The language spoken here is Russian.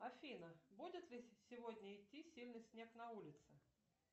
афина будет ли сегодня идти сильный снег на улице